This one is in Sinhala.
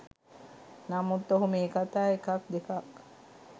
නමුත් ඔහු මේ කතා එකක් දෙකක්